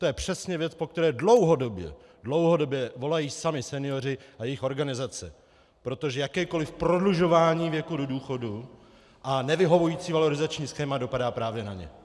To je přesně věc, po které dlouhodobě - dlouhodobě - volají sami senioři a jejich organizace, protože jakékoli prodlužování věku do důchodu a nevyhovující valorizační schéma dopadá právě na ně.